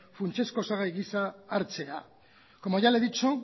funtsezko osagai gisa hartzea como ya le he dicho